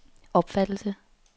opfattelse